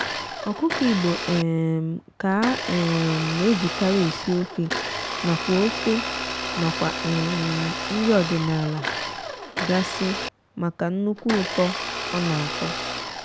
ọkụkọ igbo um ka a um na-ejikarị esi ofe nakwa ofe nakwa um nri ọdịnaala gasị maka nnukwu ụtọ ọ na-atọ